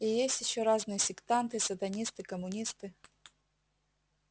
и есть ещё разные сектанты сатанисты коммунисты